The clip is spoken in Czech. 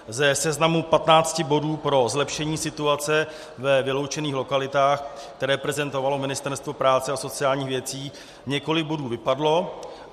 Ze seznamu 15 bodů pro zlepšení situace ve vyloučených lokalitách, které prezentovalo Ministerstvo práce a sociálních věcí, několik bodů vypadlo.